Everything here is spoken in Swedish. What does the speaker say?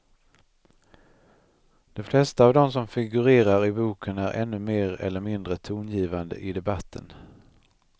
De flesta av dem som figurerar i boken är ännu mer eller mindre tongivande i debatten.